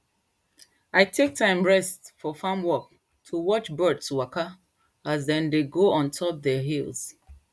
i take time rest for farm work to watch birds waka as dem dey go ontop dey hills